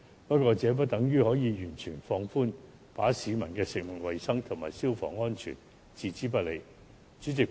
不過，這不等於可以完全放寬，把食物衞生及消防安全置之不理。